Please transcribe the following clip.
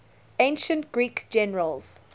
ancient greek generals